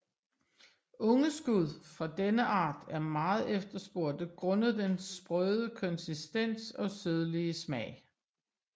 Unge skud fra denne art er meget efterspurgte grundet den sprøde konsistens og sødlige smag